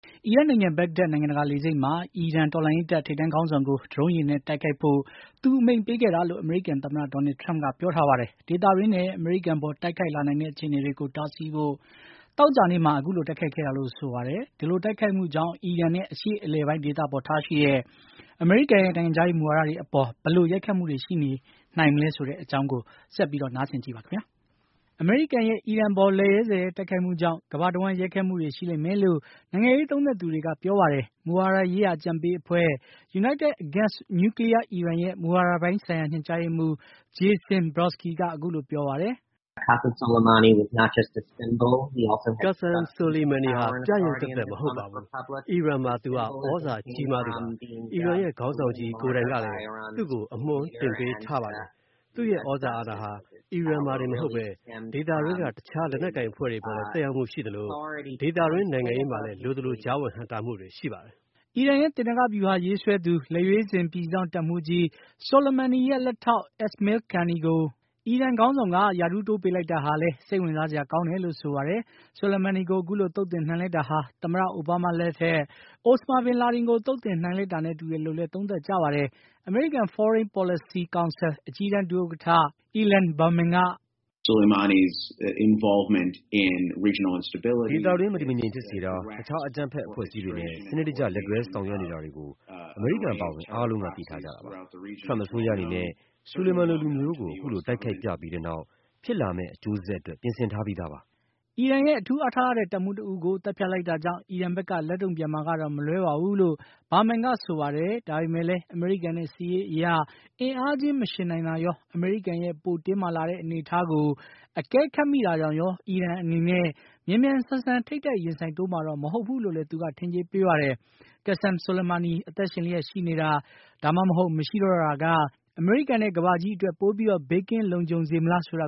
အီရတ်နိုင်ငံ ဘဂ္ဂဒက် နိုင်ငံတကာလေဆိပ်မှာ အီရန်တော်လှန်ရေးတပ် ထိပ်တန်းခေါင်းဆောင် ကို ဒရုန်းယာဉ်နဲ့တိုက်ခိုက်ဖို့ သူအမိန့်ပေးခဲ့တာလို့ အမေရိကန်သမ္မတ Donald Trump က ပြောပါတယ်။ ဒေသတွင်းနဲ့ အမေရိကန်အပေါ် တိုက်ခိုက်လာနိုင်တဲ့ အခြေအနေတွေကို တားဆီးဖို့ သောကြာနေ့မှာ အခုလို တိုက်ခိုက်ခဲ့တာလို့ ဆိုပါတယ်။ ဒီလိုတိုက်ခိုက်မှုကြောင့် အီရန်နဲ့ အရှေ့အလယ်ပိုင်းဒေသဆိုင်ရာ အမေရိကန်ရဲ့ နိုင်ငံခြားရေးမူဝါဒတွေအပေါ် ဘယ်လို ရိုက်ခတ်မှုရှိလာနိုင်မလဲဆိုတဲ့အကြောင်း VOA သတင်းထောက် Steve Hirsch ပေးပို့ထားတဲ့ သတင်းလွှာကို ကိုအောင်အောင်က တင်ပြထားပါတယ်။ အမေရိကန်ရဲ့ အခုလို လက်ရဲဇက်ရဲ တိုက်ခိုက်မှုကြောင့် ကမ္ဘာတဝန်း ရိုက်ခတ်မှုတွေ ရှိလိမ့် မယ်လို့ နိုင်ငံရေးသုံးသပ်သူတွေကဆိုပါတယ်။ မူဝါဒရေးရာ အကြံပေးအဖွဲ့ United Against Nuclear Iran ရဲ့ မူဝါဒပိုင်းဆိုင်ရာ ညွှန်ကြားရေးမှူး Jason Brodsky က အခုလို ပြောပါတယ်။ “Qasem Soleimani ဟာ ပြယုဂ်သက်သက်သာ မဟုတ်ပါဘူး။ အီရန်မှာ သူဟာ သြဇာကြီးမား သူပါ။ အီရန်ခေါင်းဆောင်ကြီး ကိုယ်တိုင်ကလည်း သူ့ကို အမွှမ်းတင်ပေးထားတာပါ။ သူ့ရဲ့သြဇာ အာဏာဟာ အီရန်မှာတင်မဟုတ်ဘဲ ဒေသတွင်းက တခြား လက်နက်ကိုင်အဖွဲ့တွေအပေါ် လည်း သက်ရောက်မှုရှိသလို ဒေသတွင်း နိုင်ငံရေးမှာလည်း လိုသလို ကြားဝင် နှောင့်ယှက်တာ တွေရှိပါတယ်။” အီရန်ရဲ့ သေနင်္ဂဗျူဟာ ရေးဆွဲသူ၊ လက်ရွေးစင် ပြည်စောင့်တပ်မှူးကြီး Soleimani ရဲ့ လက်ထောက် Esmail Qaani ကို အီရန်ခေါင်းဆောင်က ရာထူးတိုးပေးလိုက်တာဟာလည်း စိတ်ဝင်စားစရာကောင်းတယ်လို့ Brodsky က ဆိုပါတယ်။ Soleimani ကို ခုလို သုတ်သင်နိုင်လိုက်တာဟာ သမ္မတ အိုဘားမားလက်ထက် အိုစမာဘင်လာဒင်ကို သုတ်သင်နိုင်လိုက်တာ၊ သမ္မတ Trump လက်ထက် al-Baghdadi ကို သုတ်သင်လိုက်တာတွေနဲ့ တူတယ်လို့လည်း သုံးသပ်ကြပါတယ်။ American Foreign Policy Council အကြီးတန်း ဒုဥက္ကဋ္ဌ Ilan Berman က - “ဒေသတွင်း မတည်မငြိမ်ဖြစ်စေတာ၊ တခြား အကြမ်းဖက်အဖွဲ့အစည်းတွေနဲ့ စနစ်တကျ လက်တွဲဆောင်ရွက်နေတာတွေကို အမေရိကန်အပါအဝင် အားလုံးက သိထားကြတာပါ။ Trump အစိုးရအနေနဲ့ Soleimani လိုလူမျိုးကို အခုလို တိုက်ခိုက်ပြပြီးတဲ့နောက် ဖြစ်လာမယ့် အကျိုးဆက်အတွက် ပြင်ဆင်ထားပြီးသားပါ။” အီရန်ရဲ့ အထူးအားထားရတဲ့ တပ်မှူးတဦးကို သတ်ဖြတ်လိုက်တာကြောင့် အီရန်ဘက်က လက်တုံ့ပြန်မှာကတော့မလွဲပါဘူးလို့ Berman ကဆိုပါတယ်။ ဒါပေမယ့်လည်း အမေရိကန်နဲ့ စစ်ရေးအရ အင်အားချင်းမယှဉ်နိုင်တာရော၊ အမေရိကန်ရဲ့ ပိုတင်းမာလာတဲ့ အနေအထားကို အကဲခတ်မိတာကြောင့်ရော အီရန်အနေနဲ့ မြန်မြန်ဆန်ဆန် ထိပ်တိုက်ရင်ဆိုင်တိုးမှာတော့ မဟုတ်ဘူးလို့လည်း သူက ထင်ကြေးပေးပါတယ်။ Qassem Soleimani အသက်ရှင်လျက်ရှိခြင်း မရှိခြင်းမှာ ဘယ်အခြေအနေက အမေရိကန်နဲ့ ကမ္ဘာကြီးအတွက် ပိုပြီး ဘေးကင်းလုံခြုံစေမလဲဆိုတ